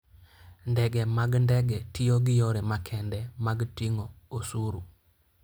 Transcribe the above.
Ndege mag ndege tiyo gi yore makende mag ting'o osuru.